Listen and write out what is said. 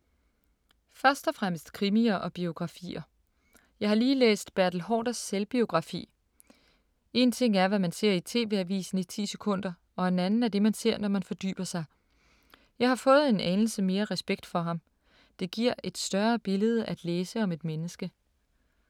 Først og fremmest krimier og biografier. Jeg har lige læst Bertel Haarders selvbiografi. En ting er, hvad man ser i TV Avisen i ti sekunder og en anden er det man ser, når man fordyber sig. Jeg har fået en anelse mere respekt for ham. Det giver et større billede at læse om et menneske.